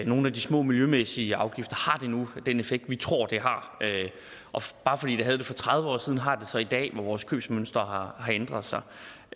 nogle af de små miljømæssige afgifter nu har den effekt som vi tror de har bare fordi de havde det for tredive år siden har de det så i dag hvor vores købsmønstre har ændret sig